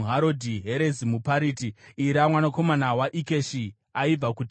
Herezi muPariti, Ira mwanakomana waIkeshi aibva kuTekoa,